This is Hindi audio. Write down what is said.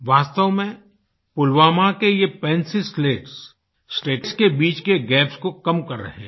वास्तव में पुलवामा के ये पेंसिल स्लेट्स स्टेट्स के बीच के गैप्स को कम कर रहे हैं